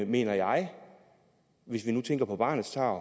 mener jeg hvis vi nu tænker på barnets tarv